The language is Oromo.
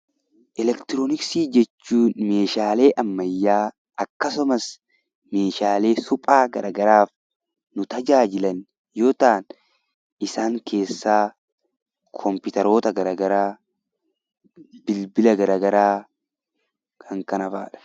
Eleektirooniksii jechuun Meeshaalee ammayyaa akkasumas Meeshaalee suphaa garaagaraaf nu tajaajilan yoo ta'an, isaan keessaa kompiitaroota garaagaraa, bilbiloota garaagaraa kan kana fa'aadha.